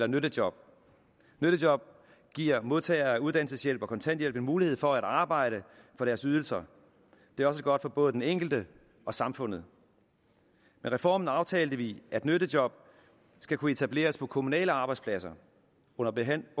nyttejob nyttejob giver modtagere af uddannelseshjælp og kontanthjælp en mulighed for at arbejde for deres ydelser det er også godt for både den enkelte og samfundet med reformen aftalte vi at nyttejob skal kunne etableres på kommunale arbejdspladser under behandlingen